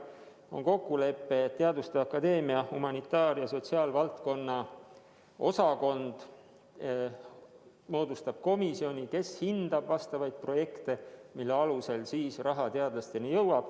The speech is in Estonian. On kokkulepe, et teaduste akadeemia humanitaar- ja sotsiaalvaldkonna osakond moodustab komisjoni, kes hindab projekte, mille alusel raha peaks teadlasteni jõudma.